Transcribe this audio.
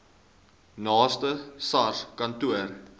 naaste sars kantoor